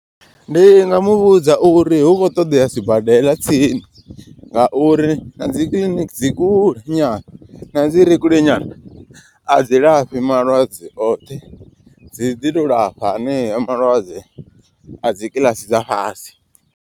Ndi nga muvhudza uri hu khou ṱoḓea sibadela tsini nga uri na dzi kiḽiniki dzi kule nyana na dzi re kule nyana. A dzi lafhi malwadze oṱhe dzi ḓi to lafha aneo malwadze a dzi kiḽasi dza fhasi.